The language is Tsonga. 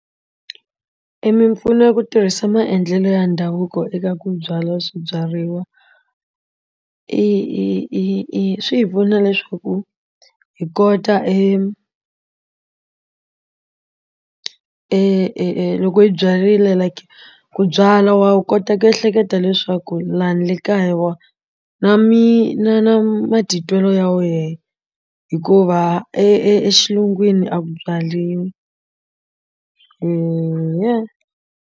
Emimpfuno ya ku tirhisa maendlelo ya ndhavuko eka ku byala swibyariwa i i i i swi hi pfuna leswaku hi kota e e e e loko yi byarile like ku byala wa kota ku ehleketa leswaku lani ni le kaya wa na mi na na matitwelo ya wena hikuva e exilungwini a ku byaliwi .